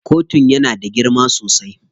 Kotun yana da girma sosai.